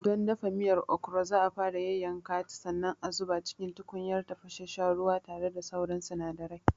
Don dafa miyar Okro za'a fara yayyanka ta sannan a zuba cikin tukunyar tafasasshen ruwa tare da sauran sinadarai.